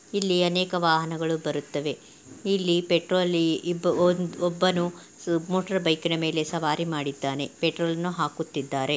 ಇಲ್ಲಿ ಅನೇಕ ವಾಹನಗಳು ಬರುತವೆ ಇಲ್ಲಿ ಪೆಟ್ರೋಲ್ ಒಬ್ಬನು ಮೋಟಾರ್ ಬೈಕ್ ನ ಮೇಲೆ ಸವಾರಿ ಮಾಡಿದ್ದಾನೆ ಪರ್ಟ್ರೋಲ್ ನ ಹಾಕುತಿದರೆ.